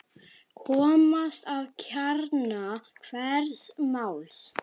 Komast að kjarna hvers máls.